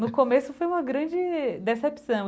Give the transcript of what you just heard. No começo foi uma grande decepção.